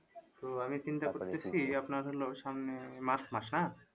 তো আমি চিন্তা করতেছি আপনার হল সামনে march মাস হ্যাঁ